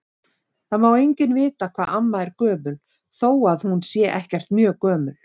Það má enginn vita hvað amma er gömul þó að hún sé ekkert mjög gömul.